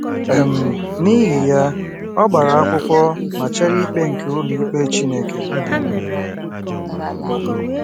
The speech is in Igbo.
um N’ihi ya, ọ gbara akwụkwọ ma chere ikpe nke ụlọikpe Chineke um.